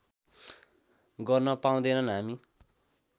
गर्न पाउँदैनन् हामी